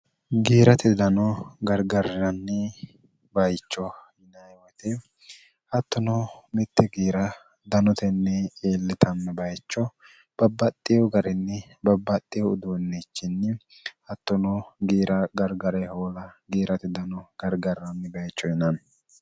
giirati dano gargarranni bayicho yinaewoyite hattono mitte giira danotenni iillitanni bayicho babbaxxeyo garinni babbaxxeu uduonnichinni hattono giira gargare hoola giirati dano gargarranni bayicho inaanni